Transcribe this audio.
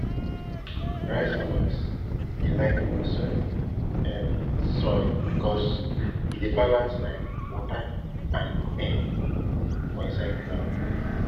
rice farmers dey like loamy um soil because e balance um water and air for inside ground